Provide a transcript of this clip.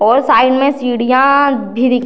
और साइड में सीढियाँ भी दि --